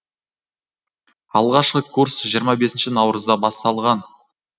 алғашқы курс жиырма бесінші наурызда басталған